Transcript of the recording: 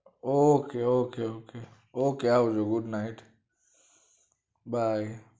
ok ok ok આવી જાઓ good night by